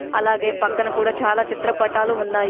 అలాగే పక్కన కూడా చాలా చిత్రపటాలు ఉన్నాయి.